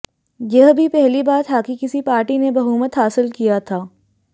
यह भी पहली बार था कि किसी पार्टी ने बहुमत हासिल किया था